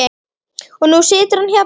Og nú situr hann hérna.